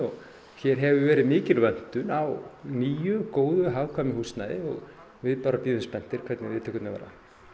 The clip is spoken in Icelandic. hér hefur verið mikil vöntun á nýju góðu og hagkvæmu húsnæði og við bíðum spenntir hvernig viðtökurnar verða